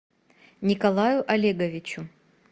николаю олеговичу